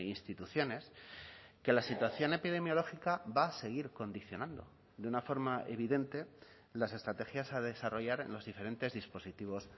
instituciones que la situación epidemiológica va a seguir condicionando de una forma evidente las estrategias a desarrollar en los diferentes dispositivos